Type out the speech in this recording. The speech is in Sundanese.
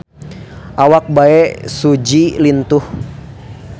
Awak Bae Su Ji lintuh